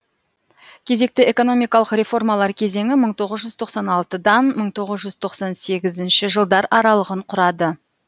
кезекті экономикалық реформалар кезеңі мың тоғыз жүз тоқсан алтыдан мың тоғыз жүз тоқсан сегізінші жылдар аралығын құрады